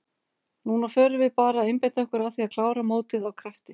Núna förum við bara að einbeita okkur að því að klára mótið af krafti.